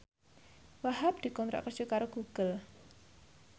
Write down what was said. Wahhab dikontrak kerja karo Google